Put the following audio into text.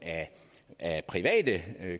af private